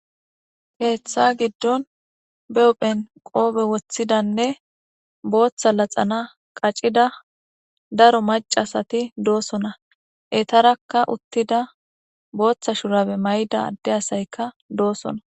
heeththa giddon beophen qoobe woththidanne booththa laxana qacida daro macasati doosona etarakka uttida booththa shurabe may7da adde asayka doosona